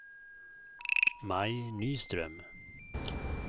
Maj Nyström